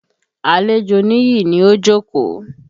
Àlejò Níyì ni ó jókòó.